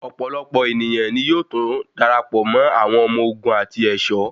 Ọ̀pọ̀lọpọ̀ èniyàn ní yóò túnbọ̀ darapọ̀ mọ́ àwọn ọmọ ogun àti ẹ̀ṣọ́.